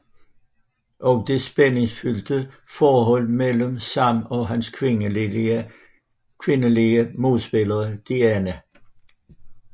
Og det spæningsfyldte forhold mellem Sam og hans kvindelige modspiller Diane